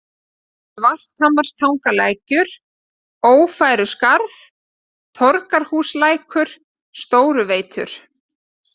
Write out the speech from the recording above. Svarthamratangalækur, Ófæruskarð, Torgarhúslækur, Stóruveitur